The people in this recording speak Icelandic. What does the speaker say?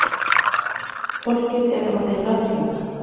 Fólkið er orðið ráðþrota